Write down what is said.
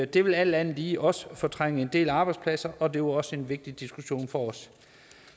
det vil alt andet lige også fortrænge en del arbejdspladser og det var også en vigtig diskussion for os